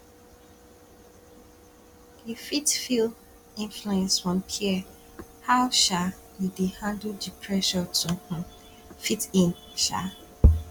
you fit feel influence from peers how um you dey handle di pressure to um fit in um